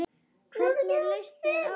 Hvernig leist þér á hann?